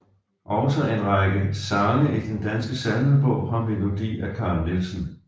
Også en række sange i Den Danske Salmebog har melodi af Carl Nielsen